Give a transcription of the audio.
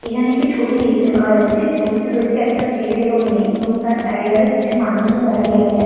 এখানে একটি ছবি দেখতে পাওয়া যাচ্ছে ছবিটি রয়েছে একটা ছেলের এবং মেয়ের এবং তার চারিধারে কিছু মানুষজন দাঁড়িয়ে আছে।